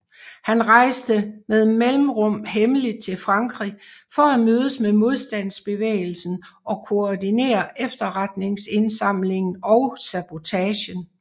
Han rejste med mellemrum hemmeligt til Frankrig for at mødes med modstandsbevægelsen og koordinere efterretningsindsamlingen og sabotagen